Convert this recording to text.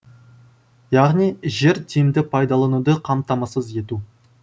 яғни жер тиімді пайдалануды қамтамасыз ету